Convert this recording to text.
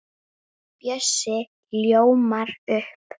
Bjössi ljómar upp.